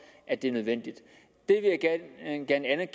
at det er nødvendigt